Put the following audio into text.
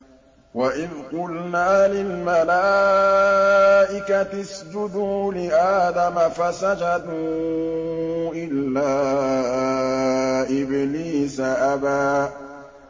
وَإِذْ قُلْنَا لِلْمَلَائِكَةِ اسْجُدُوا لِآدَمَ فَسَجَدُوا إِلَّا إِبْلِيسَ أَبَىٰ